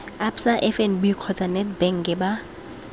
absa fnb kgotsa nedbank ba